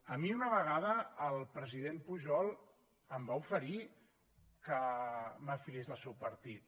a mi una vegada el president pujol em va oferir que m’afiliés al seu partit